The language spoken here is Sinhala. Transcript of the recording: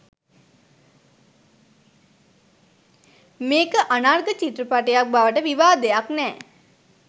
මේක අනර්ග චිත්‍රපටයක් බවට විවාදයක් නෑ